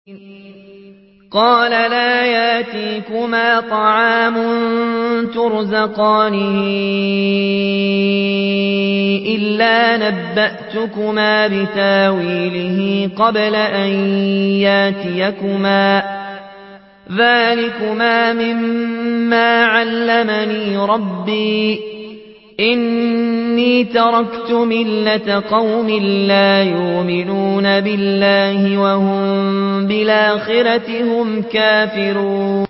قَالَ لَا يَأْتِيكُمَا طَعَامٌ تُرْزَقَانِهِ إِلَّا نَبَّأْتُكُمَا بِتَأْوِيلِهِ قَبْلَ أَن يَأْتِيَكُمَا ۚ ذَٰلِكُمَا مِمَّا عَلَّمَنِي رَبِّي ۚ إِنِّي تَرَكْتُ مِلَّةَ قَوْمٍ لَّا يُؤْمِنُونَ بِاللَّهِ وَهُم بِالْآخِرَةِ هُمْ كَافِرُونَ